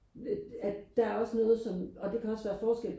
at at der er også noget som og der kan også være forskel